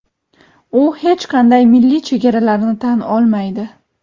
u hech qanday milliy chegaralarni tan olmaydi.